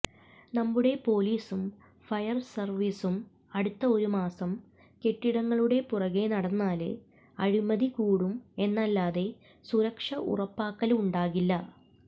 നമ്മുടെ പോലീസും ഫയര് സര്വീസും അടുത്ത ഒരുമാസം കെട്ടിടങ്ങളുടെ പുറകെ നടന്നാല് അഴിമതി കൂടും എന്നല്ലാതെ സുരക്ഷ ഉറപ്പാക്കല് ഉണ്ടാകില്ല